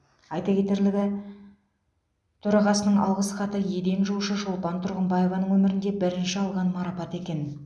айта кетерлігі төрағасының алғыс хаты еден жуушы шолпан тұрғымбаеваның өмірінде бірінші алған марапаты екен